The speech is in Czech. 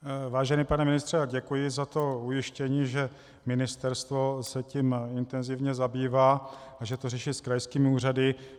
Vážený pane ministře, děkuji za to ujištění, že ministerstvo se tím intenzivně zabývá a že to řeší s krajskými úřady.